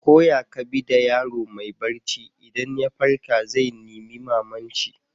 Ko ya ka bi da yaro mai barci, idan ya farka zai nima mama'n shi.